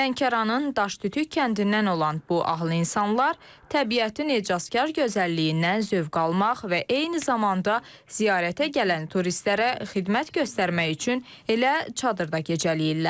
Lənkəranın Daşdütük kəndindən olan bu ahıl insanlar təbiətin ecazkar gözəlliyindən zövq almaq və eyni zamanda ziyarətə gələn turistlərə xidmət göstərmək üçün elə çadırda gecələyirlər.